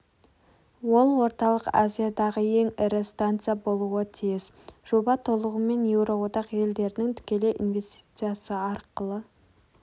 ол орталық азиядағы ең ірі станция болуы тиіс жоба толығымен еуроодақ елдерінің тікелей инвестициясы арқылы